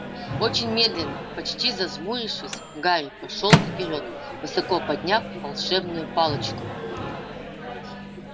очень медленно почти зажмурившись гарри пошёл вперёд высоко подняв волшебную палочку